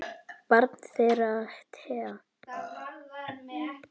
Barn þeirra Thea.